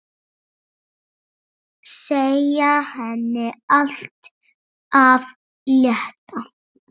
Segja henni allt af létta.